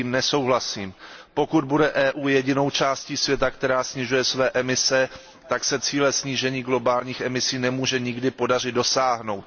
S tím nesouhlasím. Pokud bude EU jedinou částí světa, která snižuje své emise, tak se cíle snížení globálních emisí nemůže nikdy podařit dosáhnout.